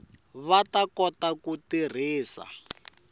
va ta kota ku tirhisa